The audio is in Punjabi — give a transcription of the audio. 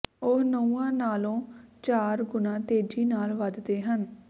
ਉਹ ਨਹੁੰਆਂ ਨਾਲੋਂ ਚਾਰ ਗੁਣਾ ਤੇਜ਼ੀ ਨਾਲ ਵੱਧਦੇ ਹਨ